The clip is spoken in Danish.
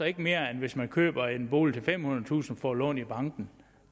ikke mere end hvis man køber en bolig til femhundredetusind får lån i banken